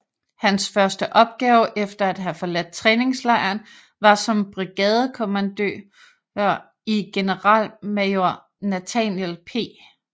Hans første opgave efter at have forladt træningslejren var som brigadekommandøe i generalmajor Nathaniel P